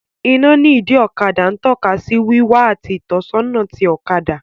Iná ní ìdí ọkadà ń tọ́ka sí wíwá àti ìtọ́sọ́nà ti ọ̀kadà